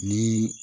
Ni